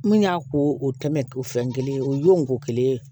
Min y'a k'o tɛmɛn o fɛn kelen o y'o kelen ye